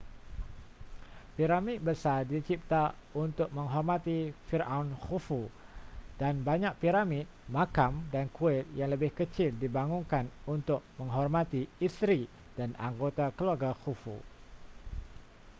piramid besar dicipta untuk menghormati firaun khufu dan banyak piramid makam dan kuil yang lebih kecil dibangunkan untuk menghormati isteri dan anggota keluarga khufu